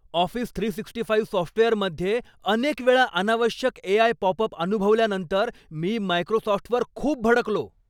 Office three sixty five सॉफ्टवेअरमध्ये अनेक वेळा अनावश्यक एआय पॉपअप अनुभवल्यानंतर मी मायक्रोसॉफ्टवर खूप भडकलो.